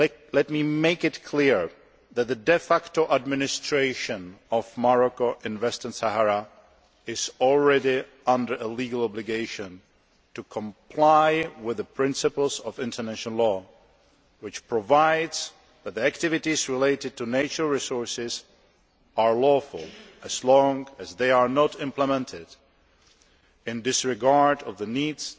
Let me make it clear that the de facto Moroccan administration in the Western Sahara is already under a legal obligation to comply with the principles of international law, which provides that the activities related to natural resources are lawful as long as they are not implemented in disregard of the needs,